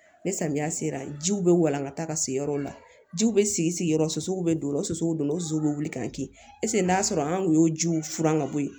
Ni samiya sera jiw bɛ walan ka taa ka se yɔrɔw la jiw bɛ sigi sigiyɔrɔ so suguw bɛ don o la o soso don o zuw bɛ wuli k'an kin eseke n'a sɔrɔ an kun y'o jiw furan ka bɔ yen